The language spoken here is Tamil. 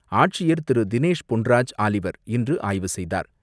ஆட்சியர் திரு தினேஷ் பொன்ராஜ் ஆலிவர் இன்று ஆய்வு செய்தார்.